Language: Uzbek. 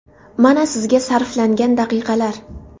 Mana sizga sarflangan daqiqalar!